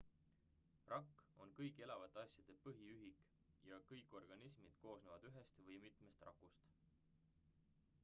rakk on kõigi elavate asjade põhiühik ja kõik organismid koosnevad ühest või mitmest rakust